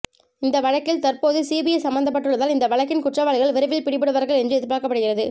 இந்த வழக்கில் தற்போது சிபிஐ சம்பந்தப்பட்டுள்ளதால் இந்த வழக்கின் குற்றவாளிகள் விரைவில் பிடிபடுவார்கள் என்று எதிர்பார்க்கப்படுகிறது